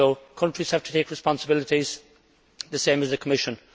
Countries have to take responsibility just the same as the Commission.